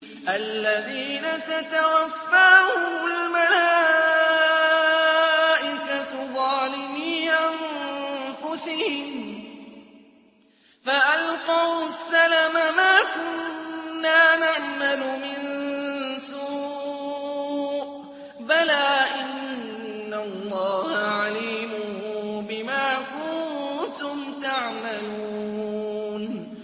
الَّذِينَ تَتَوَفَّاهُمُ الْمَلَائِكَةُ ظَالِمِي أَنفُسِهِمْ ۖ فَأَلْقَوُا السَّلَمَ مَا كُنَّا نَعْمَلُ مِن سُوءٍ ۚ بَلَىٰ إِنَّ اللَّهَ عَلِيمٌ بِمَا كُنتُمْ تَعْمَلُونَ